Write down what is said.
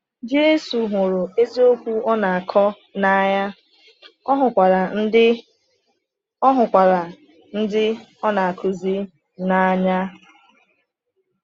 Jésù hụrụ eziokwu ọ na-akọ n’anya, ọ hụrụkwa ndị ọ hụrụkwa ndị ọ na-akụzi n’anya.